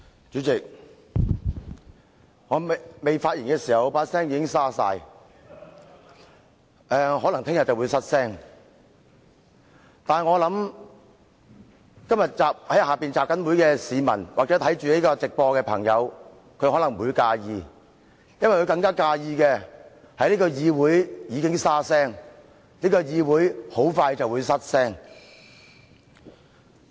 主席，儘管我尚未發言，但我的聲音已經變得沙啞，明天可能會失聲，但我在想，今天在大樓外集會的市民或正在觀看立法會直播的朋友可能不會介意，因為他們更介意這個議會已經"沙聲"，這個議會很快便"失聲"。